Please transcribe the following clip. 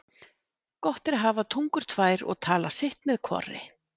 Gott er að hafa tungur tvær og tala sitt með hvorri.